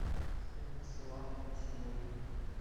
стоимость салата на сегодня